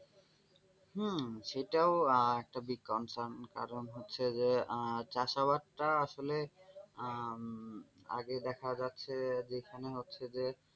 হম সেটাও একটা দিক concern কারণ হচ্ছে আহ যে চাষাবাদ টা আসলে আহ আগে দেখা যাচ্ছে যে যেখানে হচ্ছে যে,